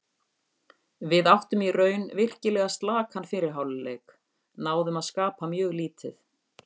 Við áttum í raun virkilega slakan fyrri hálfleik, náðum að skapa mjög lítið.